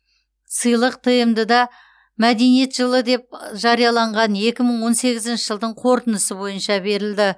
сыйлық тмд да мәдениет жылы деп жарияланған екі мың он сегізінші жылдың қорытындысы бойынша берілді